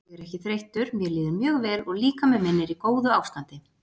Ég er ekki þreyttur mér líður mjög vel og líkami minn er í góðu ástandi.